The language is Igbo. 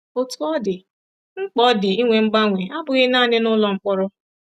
Otú ọ dị, mkpa ọ dị ịnwe mgbanwe abụghị nanị nụlọ mkpọrọ.